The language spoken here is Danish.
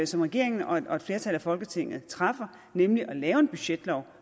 som regeringen og et flertal af folketinget træffer beslutning nemlig at lave en budgetlov